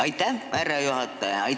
Aitäh, härra juhataja!